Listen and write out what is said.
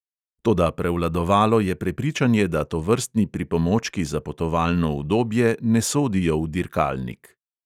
Toda prevladovalo je prepričanje, da tovrstni pripomočki za potovalno udobje ne sodijo v dirkalnik.